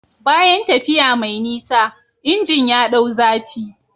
Bayan tafiya mai nisa, injin ya ɗau zafi.